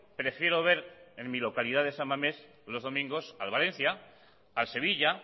prefiero ver en mi localidad de san mames los domingos al valencia al sevilla